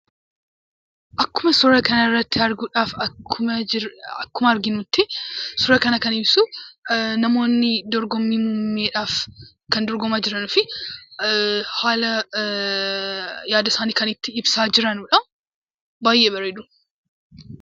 Akkuma suuraa kana irratti arginutti suura kana kan ibsu, namoonni dorgommii muummeedhaaf kan dorgomaa jiranidha. Haala yaada isaanii kan itti ibsaa jiranidha. Baay'ee baredu.